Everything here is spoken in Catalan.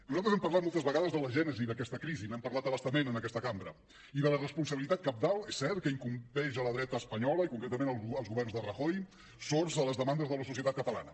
nosaltres hem parlat moltes vegades de la gènesi d’aquesta crisi n’hem parlat a bastament en aquesta cambra i de la responsabilitat cabdal és cert que incumbeix a la dreta espanyola i concretament als governs de rajoy sords a les demandes de la societat catalana